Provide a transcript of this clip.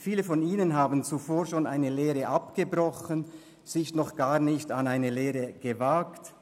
Viele von ihnen haben zuvor schon eine Lehre abgebrochen, sich noch gar nicht an eine Lehre gewagt